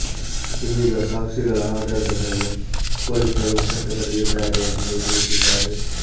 ಇದೀಗ ಸಾಕ್ಷಿಗಳ ಆಧಾರದ ಮೇಲೆ ಪೊಲೀಸರು ವಶಕ್ಕೆ ಪಡೆದಿದ್ದಾರೆ ಎಂದು ತಿಳಿಸಿದ್ದಾರೆ